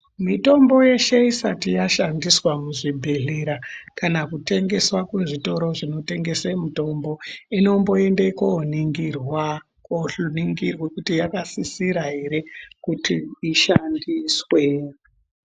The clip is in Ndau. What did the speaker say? Mitombo yeshe isati yashandiswa muzvibhehlera kana kutengeswa kuzvitoro zvinotengese mitombo inomboende koningirwa kuti yakasisira ere kuti ishandiswe.